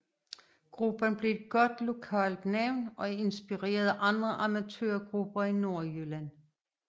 Gruppen blev et godt lokalt navn og inspirerede andre amatørgrupper i Nordjylland